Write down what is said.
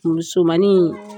Muusomanin